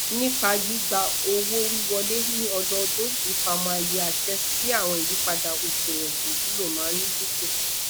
nipa gbigba owowiwọle ni ọdọọdun ifamọ aye ase si awọn iyipada oṣuwọn iwulo maa ndinku